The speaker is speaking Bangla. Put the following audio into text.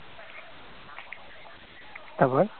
তারপর